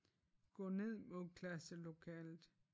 Gå ned mod klasselokalet